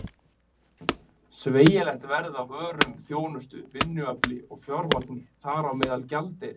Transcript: Sveigjanlegt verð á vörum, þjónustu, vinnuafli og fjármagni- þar á meðal gjaldeyri!